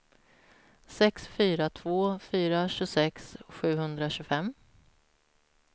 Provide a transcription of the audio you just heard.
sex fyra två fyra tjugosex sjuhundratjugofem